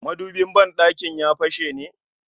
Madubin ban ɗakinka ya fashe ne?